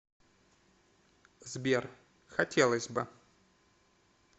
сбер хотелось бы